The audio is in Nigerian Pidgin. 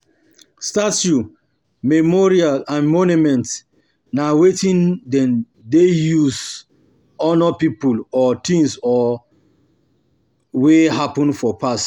Status, memorials and monuments na wetin dem de use honour pipo or things or things wey happen for past